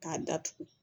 K'a datugu